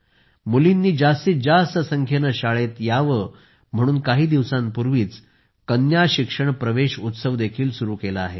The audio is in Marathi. मुलींनी जास्तीत जास्त संख्येने शाळेत यावे म्हणून काही दिवसांपूर्वीच कन्या शिक्षण प्रवेश उत्सवही सुरू केला आहे